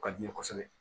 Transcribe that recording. O ka di n ye kosɛbɛ